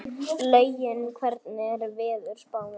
Laugi, hvernig er veðurspáin?